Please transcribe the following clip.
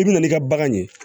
I bi na n'i ka bagan ye